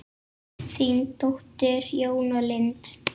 Þín dóttir, Jóna Lind.